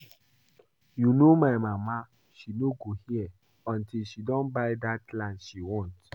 You no know my mama, she no go hear until she don buy dat land she want